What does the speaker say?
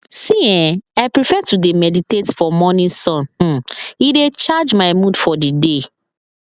see[um]i prefer to dey meditate for morning sun um e dey charge my mood for the day